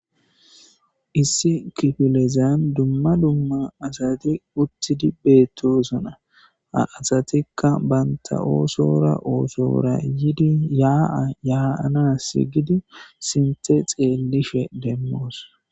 Issi kiffilezan dumma dumma asti uttidi bettosona ha assatika bantta ossora ossora yiidi ya ya'ansi giidi sinththe xellishe demos.